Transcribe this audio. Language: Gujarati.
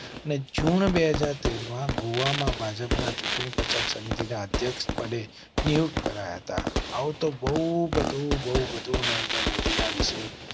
અને જૂન બે હાજર તેર માં ગોવા માં ભાજપના ચૂંટણી પ્રચાર સમિતિ ના અધ્યક્ષ પદે. ન્યુ કરાયા હતા. આવો તો બહુ બધું બહુ બધું નરેન્દ્ર મોદી ના વિશે